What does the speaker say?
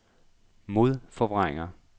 modforvrænger